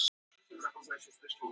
Kormákur, áttu tyggjó?